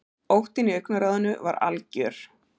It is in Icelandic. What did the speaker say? Óttinn í augnaráðinu var algjör.